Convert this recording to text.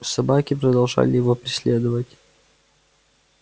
собаки продолжали его преследовать